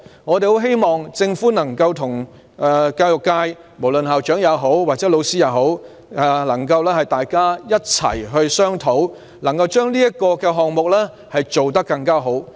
我們希望政府能夠與教育界，包括校長和老師一起商討，把這個項目做得更好。